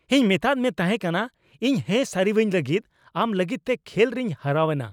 ᱤᱧ ᱢᱮᱛᱟᱫ ᱢᱮ ᱛᱟᱦᱮᱠᱟᱱᱟ ᱤᱧ ᱦᱮᱸ ᱥᱟᱹᱨᱤᱣᱟᱹᱧ ᱞᱟᱹᱜᱤᱫ ! ᱟᱢ ᱞᱟᱹᱜᱤᱫᱛᱮ ᱠᱷᱮᱞ ᱨᱮᱧ ᱦᱟᱨᱟᱣ ᱮᱱᱟ !